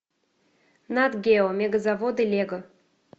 нат гео мега заводы лего